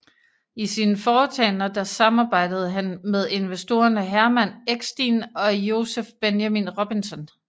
I sine foretagender der samarbejdede han med investorerne Hermann Eckstein og Joseph Benjamin Robinson